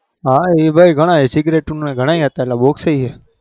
હા ઈ ભાઈ cigarette ના ગણાય હતા એટલા box